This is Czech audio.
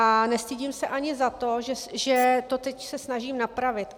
A nestydím se ani za to, že se to teď snažím napravit.